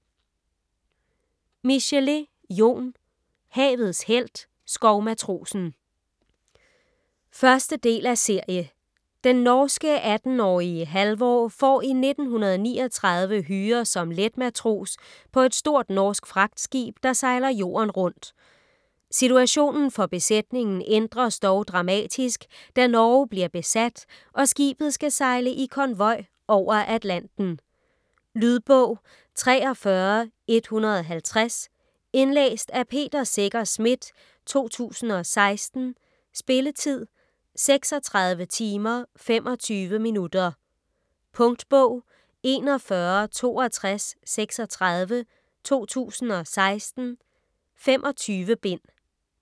Michelet, Jon: Havets helt - skovmatrosen 1. del af serie. Den norske 18-årige Halvor får i 1939 hyre som letmatros på et stort norsk fragtskib, der sejler jorden rundt. Situationen for besætningen ændres dog dramatisk, da Norge bliver besat og skibet skal sejle i konvoj over Atlanten. . Lydbog 43150 Indlæst af Peter Secher Schmidt, 2016. Spilletid: 36 timer, 2 minutter. Punktbog 416236 2016. 25 bind.